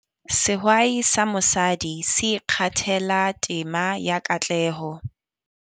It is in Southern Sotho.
Sehwai sa mosadi se ikgathela tema ya katleho.